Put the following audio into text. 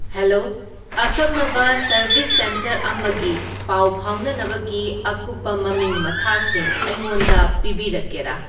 hello ꯑꯀꯛꯅꯕ service centre ꯑꯃꯒꯤ ꯄꯥꯎ ꯐꯥꯎꯅꯅꯕꯒꯤ ꯑꯀꯨꯞꯄ ꯃꯃꯤꯡ ꯃꯊꯥꯁꯤꯡ ꯑꯩꯉꯣꯟꯗ ꯄꯤꯕꯤꯔꯛꯀꯦꯔꯥ